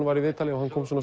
var í viðtali og hann